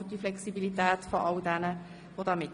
So viel haben wir mit diesem Verschieben gespart.